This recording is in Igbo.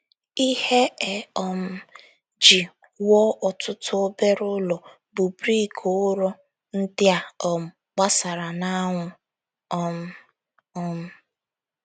Ihe e um ji wuo ọtụtụ obere ụlọ bụ brik ụrọ ndị a um gbara n’anwụ. um um